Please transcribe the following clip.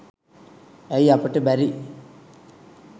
ඇයි අපිට බැරි